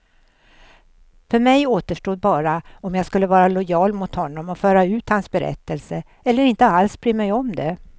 För mig återstod bara om jag skulle vara lojal mot honom och föra ut hans berättelse, eller inte alls bry mig om det.